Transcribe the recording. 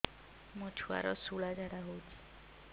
ମୋ ଛୁଆର ସୁଳା ଝାଡ଼ା ହଉଚି